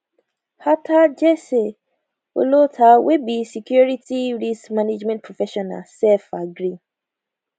attah jesse olottah wey be security risk management professional sef gree